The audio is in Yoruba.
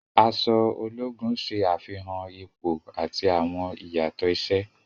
Aṣọ ologun ṣe afihan ipo ati awọn iyatọ iṣẹ.